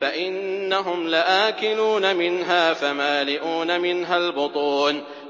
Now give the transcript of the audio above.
فَإِنَّهُمْ لَآكِلُونَ مِنْهَا فَمَالِئُونَ مِنْهَا الْبُطُونَ